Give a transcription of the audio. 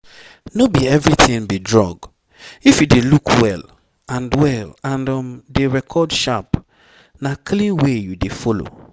no be everything be drug. if you dey look well and well and um dey record sharp na clean way you dey follow